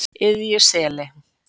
Iðjuseli